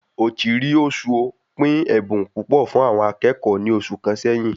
Ochiri Ozuo pín ẹbùn púpọ̀ fún àwọn akẹ́kọ̀ọ́ ní oṣù kàn sẹyìn